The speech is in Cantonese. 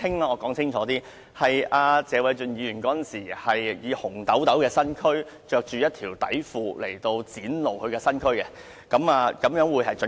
我澄清：謝偉俊議員當時穿着一條內褲，展露他雄赳赳的身軀，這個表述較為準確。